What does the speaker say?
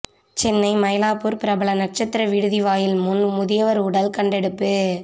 சென்னை மயிலாப்பூர் பிரபல நட்சத்திர விடுதி வாயில் முன் முதியவர் உடல் கண்டெடுப்பு